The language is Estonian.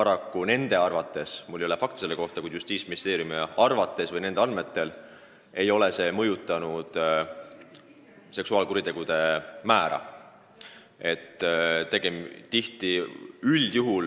Mul ei ole selle kohta fakte välja käia, aga Justiitsministeeriumi andmetel ei ole kastreerimine paraku seksuaalkuritegude arvu vähendanud.